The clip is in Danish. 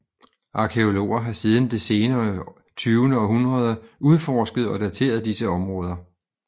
Arkæologer har siden det sene tyvende århundrede udforsket og dateret disse områder